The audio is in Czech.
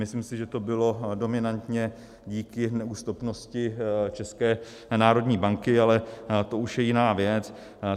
Myslím si, že to bylo dominantně díky neústupnosti České národní banky, ale to už je jiná věc.